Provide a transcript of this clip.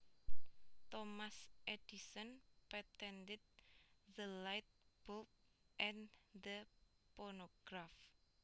Thomas Edison patented the light bulb and the phonograph